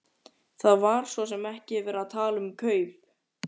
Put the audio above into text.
Það var svo sem ekki verið að tala um kaup.